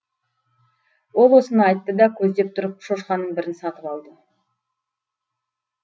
ол осыны айтты да көздеп тұрып шошқаның бірін сатып алды